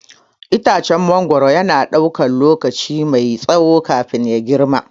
Itacen mangwaro yana ɗaukar lokaci mai tsawo kafin ya girma.